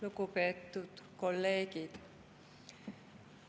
Lugupeetud kolleegid!